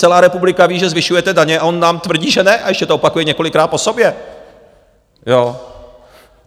Celá republika ví, že zvyšujete daně a on nám tvrdí, že ne a ještě to opakuje několikrát po sobě.